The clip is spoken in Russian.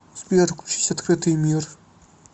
сбер включить открытый мир